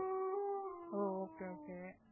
O okay okay